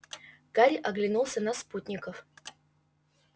гарри оглянулся на спутников